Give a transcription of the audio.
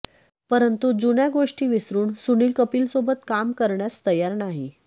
परंतु जुन्या गोष्टी विसरून सुनील कपिलसोबत काम करण्यास तयार नाही